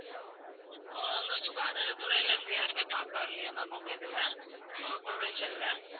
உங்க சுகாதாரத்துறையில இருந்து யாருமே பார்க்க வரலையா ma'am உங்க இதுல அஹ் குளச்சல்ல?